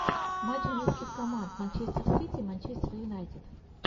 матч английских команд манчестер сити и манчестер юнайтед